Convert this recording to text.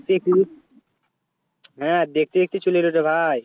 দেখতে কুড়ি হ্যাঁ দেখতে দেখতে চলে এলরে ভাই